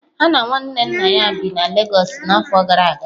Ha na nwanne nna ha bi na Lagos n'afọ gara aga